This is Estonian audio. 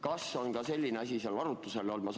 Kas on ka selline asi komisjonis arutlusel olnud?